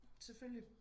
Selvfølgelig